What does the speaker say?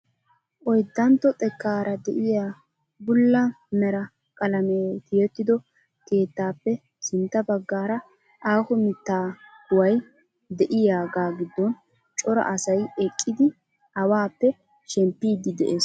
Oyddantto xekkaara de'iyaa bulla mera qalamee tiyettido keettaappe sintta baggara aaho mittaa kuway de'iyaagaa giddon cora asay eqqidi awaappe shemppidi de'ees!